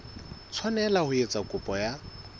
tshwanela ho etsa kopo ya